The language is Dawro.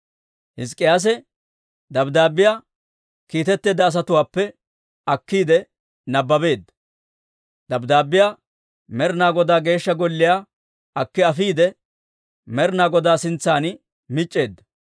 Hizk'k'iyaase dabddaabbiyaa akkiiyeedda asatuwaappe akkiide nabbabeedda. Dabddaabbiyaa Med'ina Godaa Geeshsha Golliyaa akki afiide, Med'ina Godaa sintsan mic'c'eedda.